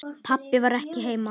Pabbi var ekki heima.